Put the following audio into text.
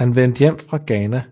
Han vendte hjem til Ghana